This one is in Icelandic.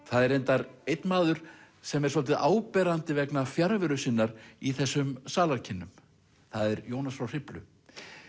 það er reyndar einn maður sem er svolítið áberandi vegna fjarveru sinnar í þessum salarkynnum það er Jónas frá Hriflu